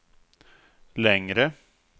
längre